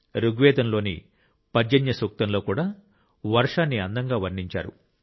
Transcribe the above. ఋగ్వేదంలోని పర్జన్య సూక్తంలో కూడా వర్షాన్ని అందంగా వర్ణించారు